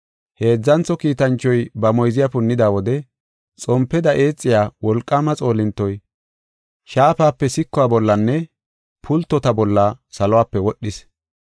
Heedzantho kiitanchoy ba moyziya punnida wode xompeda eexiya wolqaama xoolintoy shaafape sikuwa bollanne pultota bolla salope wodhis.